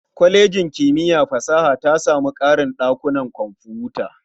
Kwalejin kimiyya fa fasaha ta samu ƙarin ɗakunan kwamfuta.